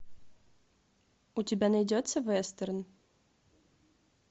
у тебя найдется вестерн